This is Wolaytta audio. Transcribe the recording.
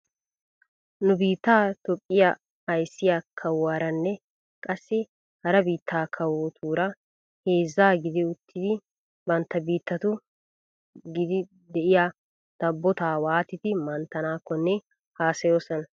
Nu biittaa toophphiyaa ayssiyaa kawuwaaranne qassi hara biitta kawotuura heezza gidi uttidi bantta biittatu giddi de'iyaa dabbotaa waatidi minttanaakkonne haasayoosona.